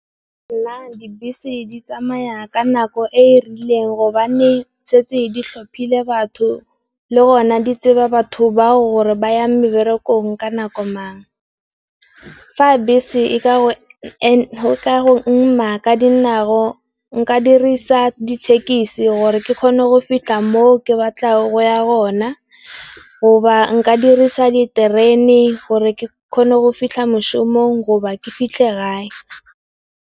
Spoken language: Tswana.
Nna dibese di tsamaya ka nako e e rileng gobane setse di tlhophile batho le gona di tseba batho ba hore ba yang meberekong ka nako mang. Fa bese e ka go ema ka dinao nka dirisa dithekisi gore ke kgone go fitlha mo ke batlago go ya gona, go ba nka dirisa diterene gore ke kgone go fitlha moshomog go ba ke fitlhe gae.